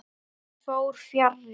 Því fór fjarri.